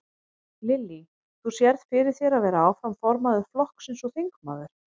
Lillý: Þú sérð fyrir þér að vera áfram formaður flokksins og þingmaður?